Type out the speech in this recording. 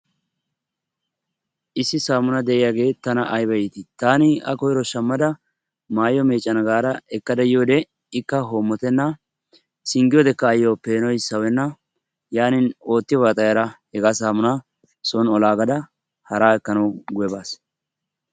issi saamuna de"iyaagee tana ayiba iitii! taani a koyiro shammada maayuwaa meeccana gaada ekkada yiyoodee ikka hoommotenna singgiyoodeekka ayyo peenoy sawenna. yaanin oottiyoobaa xayada hegaa saamunaa son olaaggadda haraa ekkananwu guyye baas.